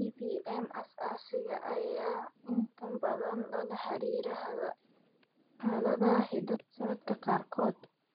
Tracheobronchomalacia aasaasiga ah (TBM) ayaa inta badan lala xiriiriyaa xaaladaha hidde-socodka qaarkood.